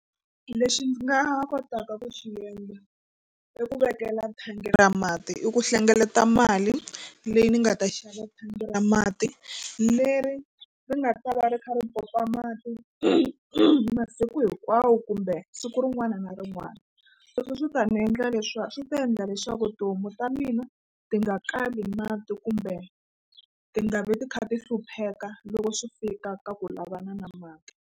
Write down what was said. Lexi ndzi nga kotaka ku xi endla i ku vekela thangi ra mati i ku hlengeleta mali leyi ni nga ta xava thangi ra mati leri ri nga ta va ri kha ri pompa mati masiku hinkwawo kumbe siku rin'wana na rin'wana sweswo swi ta ni endla swi ta endla leswaku tihomu ta mina ti nga kali mati kumbe ti nga vi ti kha ti hlupheka loko swi fika ka ku lavana na mati.